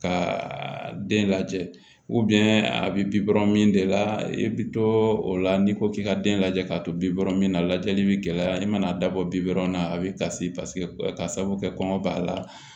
Ka den lajɛ a bɛ bikɔrɔ min de la i bɛ to o la n'i ko k'i ka den lajɛ k'a to bi bɔrɔ min na lajɛli bɛ gɛlɛya i mana dabɔ bi dɔrɔn na a bɛ kasi paseke ka sabu kɛ kɔngɔ b'a la